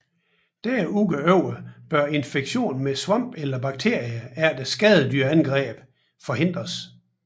Derudover bør infektion med svampe eller bakterier eller skadedyrsangreb forhindres